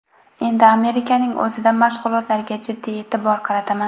Endi Amerikaning o‘zida mashg‘ulotlarga jiddiy e’tibor qarataman.